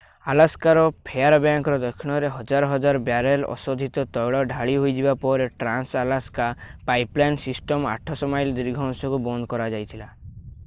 ଆଲାସ୍କାର ଫେୟାରବ୍ୟାଙ୍କର ଦକ୍ଷିଣରେ ହଜାର ହଜାର ବ୍ୟାରେଲ୍‌ ଅଶୋଧିତ ତୈଳ ଢାଳି ହୋଇଯିବା ପରେ ଟ୍ରାନ୍ସ-ଆଲାସ୍କା ପାଇପଲାଇନ୍‌ ସିଷ୍ଟମ୍‌ର 800 ମାଇଲ ଦୀର୍ଘ ଅଂଶକୁ ବନ୍ଦ କରାଯାଇଥିଲା।